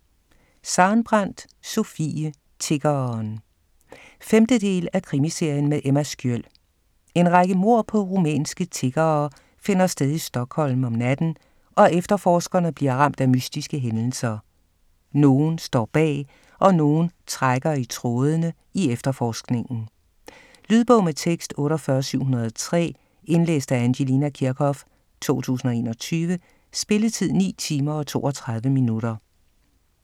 Sarenbrant, Sofie: Tiggeren 5. del af Krimiserien med Emma Sköld. En række mord på rumænske tiggere finder sted i Stockholm om natten, og efterforskerne bliver ramt af mystiske hændelser. Nogen står bag - og nogen trækker i trådende i efterforskningen. Lydbog med tekst 48703 Indlæst af Angelina Kirchhoff, 2021. Spilletid: 9 timer, 32 minutter.